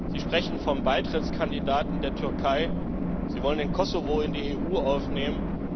Sie sprechen vom Beitrittskandidaten Türkei, Sie wollen das Kosovo in die EU aufnehmen.